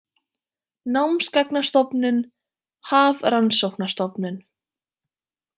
Námsgagnastofnun- Hafrannsóknastofnun.